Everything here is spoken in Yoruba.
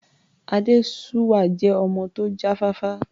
Adésuwà jẹ́ ọmọ tó já fáfá.